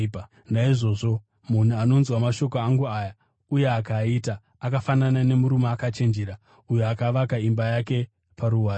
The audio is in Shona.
“Naizvozvo munhu anonzwa mashoko angu aya, uye akaaita, akafanana nemurume akachenjera uyo akavaka imba yake paruware.